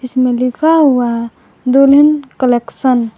इसमें लिखा हुआ है दुल्हन कलेक्शन ।